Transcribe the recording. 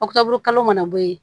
ktukuru mana bɔ yen